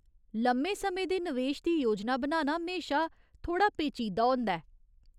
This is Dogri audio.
लम्मे समें दे नवेश दी योजना बनाना म्हेशा थोह्ड़ा पेचीदा होंदा ऐ।